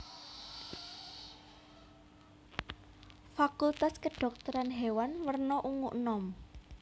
Fakultas Kedhokteran Hewan werna ungu enom